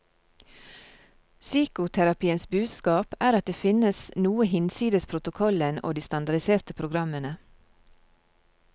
Psykoterapiens budskap er at det finnes noe hinsides protokollen og de standardiserte programmene.